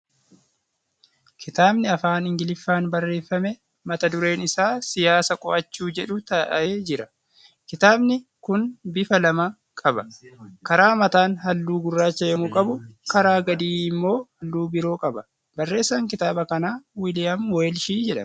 Kitaabni Afaan Ingiliffaan barreeffame mata dureen isaa ' Siyaasa Qo'achuu ' jedhu taa'ee jira. Kitaabni kun bifa lama qaba .Karaa mataan halluu gurraacha yemmuu qabu karaa gadii immoo halluu biroo qaba. Barreessaan kitaaba kanaa Wiiliyaam Weelshi jedhama.